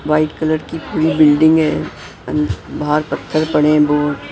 White colour की पूरी building है बाहर पत्थर पड़े हैं बहुत ।